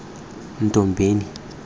nthombeni